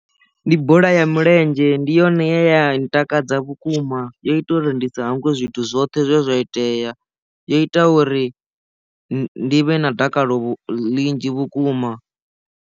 Ndi bola ya milenzhe ndi yone ye ya ntakadza vhukuma yo ita uri ndi sa hangwe zwithu zwoṱhe zwe zwa itea yo ita uri ndi vhe na dakalo ḽinzhi vhukuma.